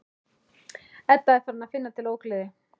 Edda er farin að finna til ógleði.